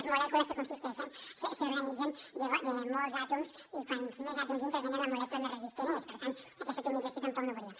les molècules s’organitzen de molts àtoms i quants més àtoms intervenen la molècula més resistent és per tant aquesta atomització tampoc no veuríem